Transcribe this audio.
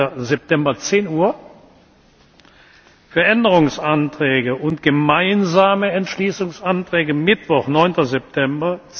8. September, 10.00 Uhr, für Änderungsanträge und gemeinsame Entschließungsanträge Mittwoch, 9. September,